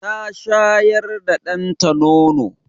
Ta shayar da danta nono.